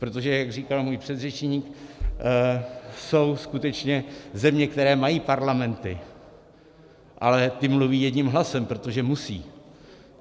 Protože jak říkal můj předřečník, jsou skutečně země, které mají parlamenty, ale ty mluví jedním hlasem, protože musí.